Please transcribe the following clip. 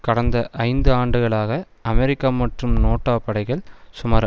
கடந்த ஐந்து ஆண்டுகளாக அமெரிக்க மற்றும் நேட்டோ படைகள் சுமார்